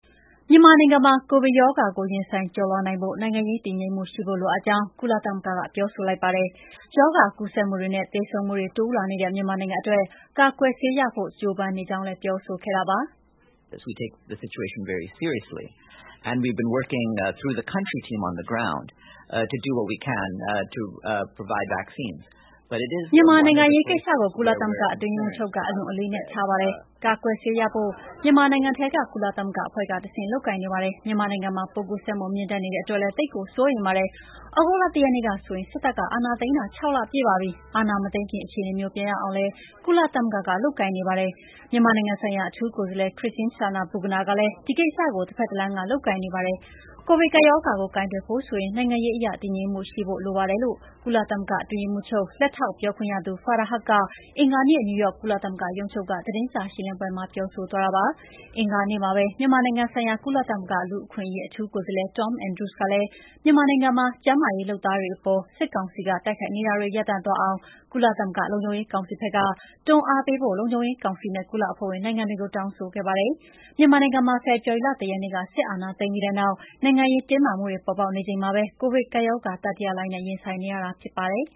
မြန်မာနိုင်ငံမှာ ကိုဗစ်ကပ်ရောဂါကို ရင်ဆိုင်ကျော်လွှားနိုင်ဖို့ နိုင်ငံရေး တည်ငြိမ်မှုရှိဖို့ လိုအပ်ကြောင်း ကုလသမဂ္ဂက ပြောဆိုလိုက်ပါတယ်။ ရောဂါကူးစက်မှုတွေနဲ့ သေဆုံးမှုတွေ တိုးလာနေတဲ့ မြန်မာနိုင်ငံအတွက် ကာကွယ်ဆေးရဖို့ ကြိုးပမ်းနေကြောင်းလည်း ပြောဆိုခဲ့တာပါ။ “မြန်မာနိုင်ငံအရေးကိစ္စကို ကုလသမဂ္ဂအတွင်းရေးမှူးချုပ်က အလွန်အလေးအနက်ထားပါတယ်။ ကာကွယ်ဆေးရဖို့ မြန်မာနိုင်ငံထဲက ကကုလသမဂ္ဂအဖွဲ့က တဆင့် လုပ်ကိုင်နေပါတယ်။ မြန်မာနိုင်ငံမှာ ပိုးကူးစက်မှုမြင့်တက်နေတဲ့အတွက်လည်း သိပ်ကိုစိုးရိမ်ပါတယ်။ သြဂုတ်လ ၁ ရက်နေ့ဆိုရင်စစ်တပ်ကအာဏာသိမ်းထားတာ ၆ လပြည့်ပါပြီ။ အာဏာမသိမ်းခင် အခြေအနေမျိုးပြန်ရောက်အောင်လည်း ကုလသမဂ္ဂကလုပ်ကိုင်နေပါတယ်။ မြန်မာနိုင်ငံဆိုင်ရာ အထူးကိုယ်စားလှယ် Christine Schraner Burgener လည်း ဒီကိစ္စကိုတဖက်တလမ်း ကလုပ်ကိုင်နေပါတယ်။ ကိုဗစ်ကပ်ရောဂါကို ကိုင်တွယ်ဖို့ဆိုရင် နိုင်ငံရေးအရ တည်ငြိမ်မှုရှိနေဖို့လည်းလိုပါတယ်" လို့ကုလသမဂ္ဂအတွင်းရေးမှူးချုပ် လက်ထောက်ပြောခွင့်ရ Farhan Haq က အင်္ဂါနေ့ နယူးယောက် ကုလသမဂ္ဂ ရုံးချုပ်က သတင်းစာ ရှင်းလင်းပွဲမှာ ပြောဆိုသွားတာပါ။ အင်္ဂါနေ့မှာပဲ မြန်မာနိုင်ငံဆိုင်ရာ ကုလသမဂ္ဂ လူ့အခွင့်အရေး အထူးကိုယ်စားလှယ် Tom Andrews ကလည်း မြန်မာနိုင်ငံမှာ ကျန်းမာရေးလုပ်သားတွေအပေါ် စစ်ကောင်စီကတိုက်ခိုက်နေတာတွေရပ်တန့်သွားအောင် ကုလသမဂ္ဂလုံခြုံရေးကောင်စီဖက်က တွန်းအားပေးဖို့ လုံခြုံရေးကောင်စီနဲ့ ကုလအဖွဲ့ဝင်နိုင်ငံတွေကို တောင်းဆိုခဲ့ပါတယ်။ မြန်မာနိုင်ငံမှာ ဖေဖော်ဝါရီလ ၁ ရက်နေ့ စစ်အာဏာသိမ်းပြီးနောက် နိုင်ငံရေး တင်းမာမှုတွေ ပေါ်ပေါက်နေချိန်မှာပဲ ကိုဗစ်ကပ်ရောဂါ တတိယလှိုင်းနဲ့ ရင်ဆိုင်နေရတာ ဖြစ်ပါတယ်